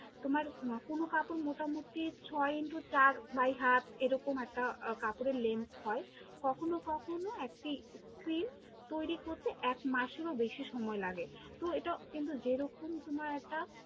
তোমার আহ কোনো কাপড় মোটামুটি ছয় Into চার by হাত, এরকম একটা কাপড়ের lenth হয়, কখনও কখনও একটি প্রিন্ট তৈরী করতে এক মাসেরও বেশি সময় লাগে, তো এটাও কিন্তু যেরকম তোমার একটা